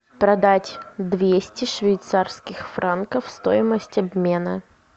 продать двести швейцарских франков стоимость обмена